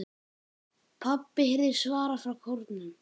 PABBI heyrist svarað frá kórnum.